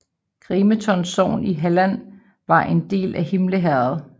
Grimeton sogn i Halland var en del af Himle herred